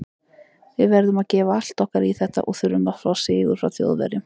Við verðum að gefa allt okkar í þetta og þurfum að fá sigur frá Þjóðverjum.